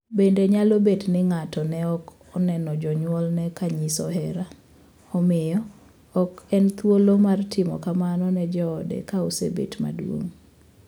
Bende nyalo bet ni ng’ato ne ok noneno jonyuolne ka nyiso hera, omiyo ok en thuolo mar timo kamano ne joode ka osebet maduong’.